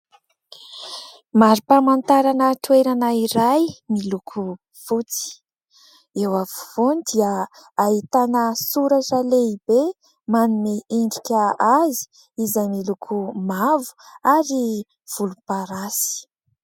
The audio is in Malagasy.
Marim-pamantarana toerana iray miloko fotsy, eo afovoany dia ahitana soratra lehibe manome endrika azy izay miloko mavo ary volomparasy.